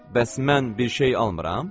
Bəs mən bir şey almıram?